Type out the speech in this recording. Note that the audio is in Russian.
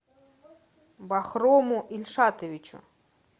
бахрому ильшатовичу